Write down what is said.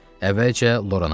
Əvvəlcə Lorana baxdı.